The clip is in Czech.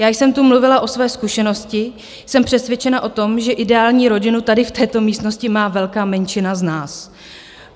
Já jsem tu mluvila o své zkušenosti, jsem přesvědčena o tom, že ideální rodinu tady v této místnosti má velká menšina z nás.